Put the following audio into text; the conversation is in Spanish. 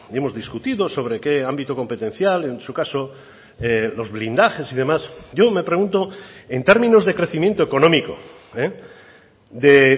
hemos discutido sobre qué ámbito competencial en su caso los blindajes y demás yo me pregunto en términos de crecimiento económico de